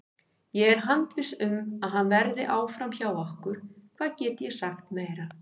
Ég er handviss um að hann verði áfram hjá okkur, hvað get ég sagt meira?